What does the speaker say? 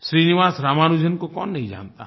श्रीनिवास रामानुजन को कौन नहीं जानता है